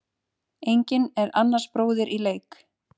Enginn er annars bróðir í leik.